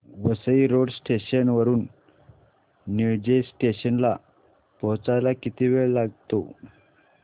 Vasai road station वरून Nilje station ला पोहचायला किती वेळ लागतो